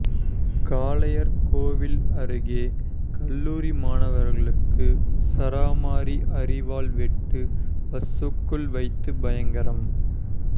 காளையார்கோவில் அருகே கல்லூரி மாணவருக்கு சரமாரி அரிவாள் வெட்டு பஸ்சுக்குள் வைத்து பயங்கரம்